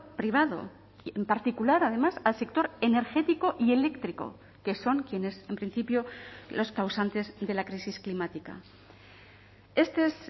privado en particular además al sector energético y eléctrico que son quienes en principio los causantes de la crisis climática este es